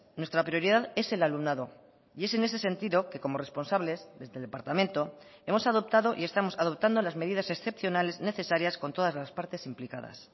nuestra prioridad es el alumnado y es en ese sentido que como responsables desde el departamento hemos adoptado y estamos adoptando las medidas excepcionales necesarias con todas las partes implicadas